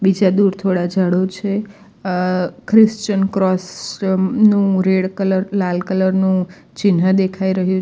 જ્યાં દૂર થોડા ઝાડો છે અ ખ્રિશ્ચન ક્રોસ નું રેડ કલર લાલ કલર નું ચિન્હ દેખાઈ રહ્યું --